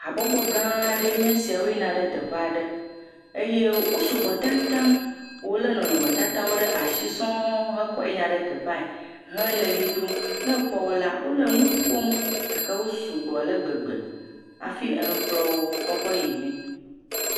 Habɔbɔ gã aɖe nye sia, woyina ɖe teƒe aɖe, eye sugbɔ tatataŋ, wolé nɔnɔmetatawo ɖe asi sɔŋ heyina ɖe teƒea, hele ʋli dom ne èkpɔ wo la wole nu ƒom gake wo sugbɔ ale gbegbe, hafi hekplɔ wo kɔ kɔ yimee.